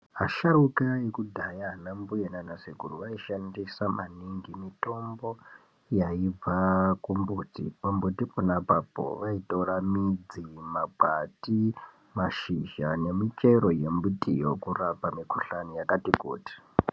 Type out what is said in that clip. Asharuka ekudhaya, ana mbuya naana sekuru vaishandisa maningi mitombo yaibva kumumbuti, pambuti pona apapo vaitora midzi mumakwati ,mashizha nemichero yembitiyo kurapa mikhuhlani yakati kuti.